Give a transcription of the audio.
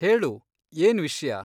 ಹೇಳು ಏನ್ ವಿಷ್ಯ?